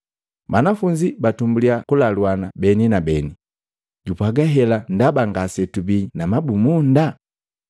Banafunzi batumbulya kulaluana beni na beni, “Jupwaga hela ndaba ngasetubii na mabumunda.”